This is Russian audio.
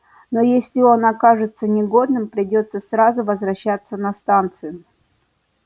но если он окажется негодным придётся сразу возвращаться на станцию